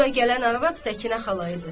Bura gələn arvad Səkinə xala idi.